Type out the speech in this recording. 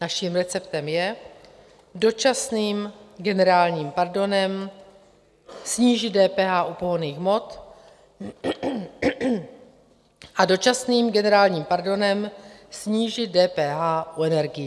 Naším receptem je dočasným generálním pardonem snížit DPH u pohonných hmot a dočasným generálním pardonem snížit DPH u energií.